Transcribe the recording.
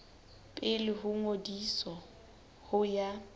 pele ho ngodiso ho ya